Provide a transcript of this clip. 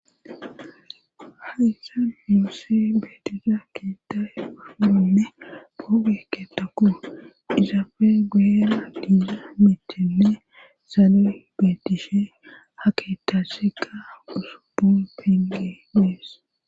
haysa nuse betizay kiita e pafunome bo beeketako izafe gueera diiza mitenne saale betishe haketacshega guso bo penge deess